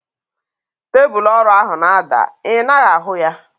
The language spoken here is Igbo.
Tebụlu ọrụ ahu na-ada. I naghị ahu ya?